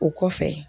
O kɔfɛ